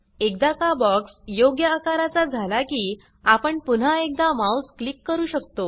एकदा का बॉक्स योग्य आकारचा झाला की आपण पुन्हा एकदा माउस क्लिक करू शकतो